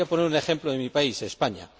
Voy a poner un ejemplo de mi país, España